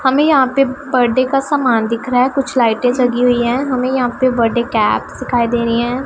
हमें यहां पे बर्थडे का समान दिख रहा है कुछ लाइटें जगी हुईं हैं हमें यहां पे बर्थडे कैप्स दिखाई दे रहीं हैं।